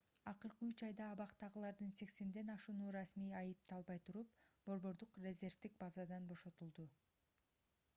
акыркы 3 айда абактагылардын 80 ашууну расмий айыпталбай туруп борбордук резервдик базадан бошотулду